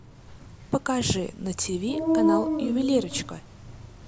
покажи на тиви канал ювелирочка